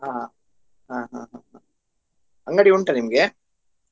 ಹ ಹ ಹ ಹ ಅಂಗಡಿ ಉಂಟ ನಿಮ್ಗೆ?